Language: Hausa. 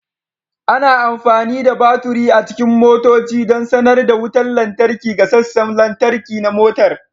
Ana amfani da baturi a cikin motoci don sanar da wutar lantarki ga sassan lantarki na motar